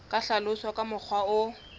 ka hlaloswa ka mokgwa o